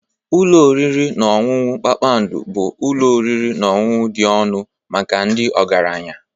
Ụlọ oriri na ọṅụṅụ kpakpando bụ ụlọ oriri na ọṅụṅụ dị ọnụ maka ndị ọgaranya.